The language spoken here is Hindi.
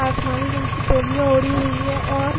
आसमानी रंग की तौलिया ओढ़ी हुवी है और --